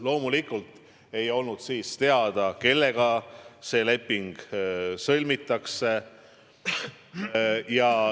Loomulikult ei olnud siis teada, kellega leping sõlmitakse.